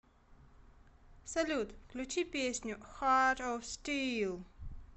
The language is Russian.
салют включи песню харт оф стил